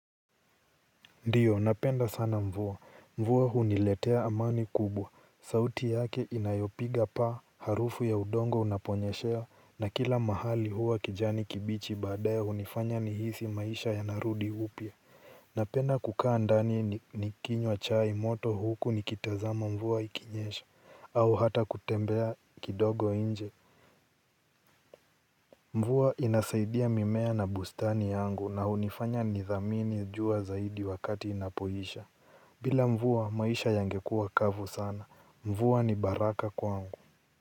Ndiyo napenda sana mvua, mvua huniletea amani kubwa sauti yake inayopiga paa harufu ya udongo unaponyeshewa na kila mahali huwa kijani kibichi baadaye hunifanya nihisi maisha yanarudi upya. Napenda kukaa ndani nikinywa chai moto huku nikitazama mvua ikinyesha au hata kutembea kidogo nje mvua inasaidia mimea na bustani yangu na hunifanya nithamini jua zaidi wakati inapoisha. Bila mvua maisha yangekuwa kavu sana. Mvua ni baraka kwangu.